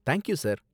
Thank you sir.